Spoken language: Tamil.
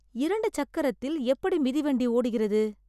இரண்டு சக்கரத்தில் எப்படி மிதிவண்டி ஓடுகிறது?